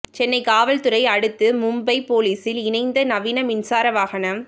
சென்னை காவல்துறை அடுத்து மும்பை போலீஸில் இணைந்த நவீன மின்சார வாகனம்